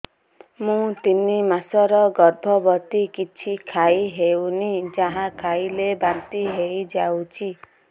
ମୁଁ ତିନି ମାସର ଗର୍ଭବତୀ କିଛି ଖାଇ ହେଉନି ଯାହା ଖାଇଲେ ବାନ୍ତି ହୋଇଯାଉଛି